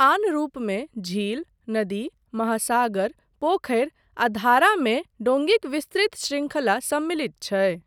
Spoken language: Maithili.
आन रूपमे झील, नदी, महासागर, पोखरि आ धारा मे डोङीक विस्तृत शृंखला सम्मिलित छै।